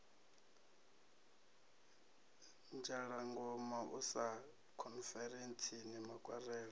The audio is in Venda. dzhalagoma u ya khonferentsini makwarela